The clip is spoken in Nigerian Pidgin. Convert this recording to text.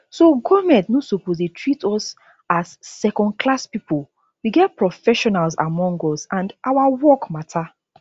so goment no suppose dey treat us as secondclass pipo we get professionals among us and our work matter